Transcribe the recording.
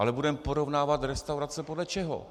Ale budeme porovnávat restaurace podle čeho?